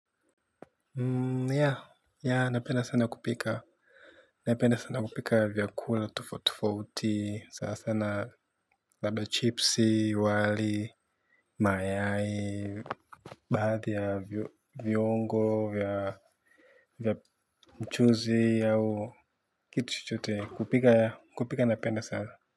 Ya, ya, napenda sana kupika, napenda sana kupika vyakula tufauti, sana sana labdaa chipsi, wali, mayai, baadhi ya viungo vya mchuzi au kitu chochote, kupika, kupika napenda sana.